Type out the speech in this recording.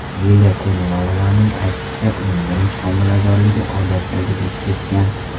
Liliya Konovalovaning aytishicha, uning birinchi homiladorligi odatdagidek kechgan.